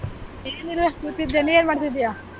ಏನಿಲ್ಲ ಕೂತಿದ್ದೆ ನೀನ್ ಏನ್ ಮಾಡ್ತಿದ್ದೀಯಾ?